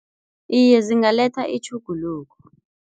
Iye, zingaletha itjhuguluko.